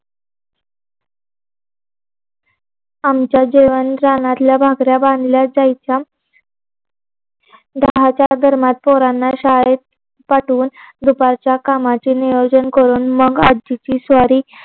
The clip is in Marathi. आमच्या जेवण रानातल्या भाकऱ्या बांधल्या जायच्या दहाच्या दरम्यान पोरांना शाळेत पाठवून दुपारच्या कामाचे नियोजन करून मग आजीची स्वारी